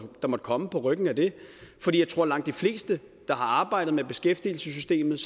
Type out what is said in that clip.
komme på ryggen af det for jeg tror at langt de fleste der har arbejdet med beskæftigelsessystemet